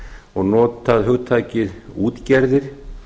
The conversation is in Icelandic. og notað hugtakið útgerðir